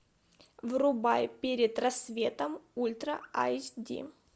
врубай перед рассветом ультра айч ди